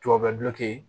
Tubabu bɛ guloki